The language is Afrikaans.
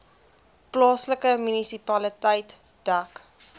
plaaslike munisipaliteit dek